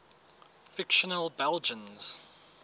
fictional belgians